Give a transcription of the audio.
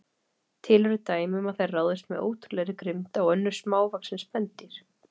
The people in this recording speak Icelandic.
Til eru dæmi um að þær ráðist með ótrúlegri grimmd á önnur smávaxin spendýr.